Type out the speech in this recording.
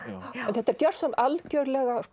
þetta er algjörlega